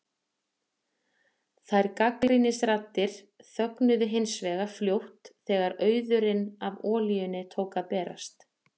Þær gagnrýnisraddir þögnuðu hins vegar fljótt þegar auðurinn af olíunni tók að berast.